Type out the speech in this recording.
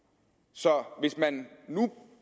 så hvis man nu